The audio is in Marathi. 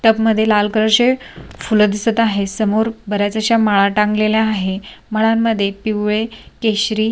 टब मध्ये लाल कलर चे फुलं दिसत आहे समोर बऱ्याच अश्या माळा टांगलेल्या आहे माळांमध्ये पिवळे केशरी--